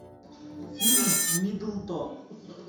фильм миддлтон